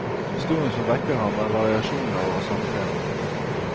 Historien som vekker ham er variasjoner over samme tema.